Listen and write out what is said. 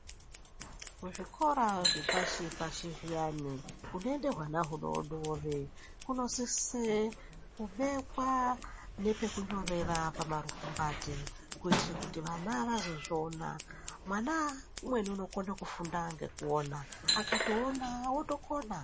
Kuzvikora zvepashi-pashi zviyani kunoende hwana hudodori Kunosise kubekwa nepekunyorera pamarukumbati kuitire kuti vana vazozviona, mwana umweni unokona kufunda ngekuona akazviona otokona.